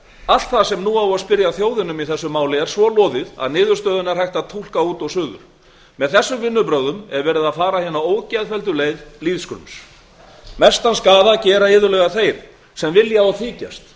allt það sem nú á að spyrja þjóðina um í þessu máli er svo loðið að einboðið verður fyrir almenning að fella það í þjóðaratkvæðagreiðslu með þessum vinnubrögðum er verið að fara hina ógeðfelldu leið lýðskrums þar sem